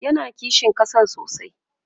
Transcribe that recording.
yana kishin ƙasa sosai